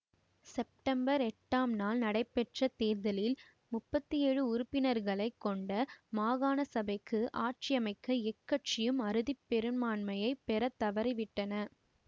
September எட்டாம் நாள் நடைபெற்ற தேர்தலில் முப்பத்தி ஏழு உறுப்பினர்களை கொண்ட காணசபைக்கு ஆட்சியமைக்க எக்கட்சியும் அறுதி பெரும்பான்மையை பெற தவறிவிட்டன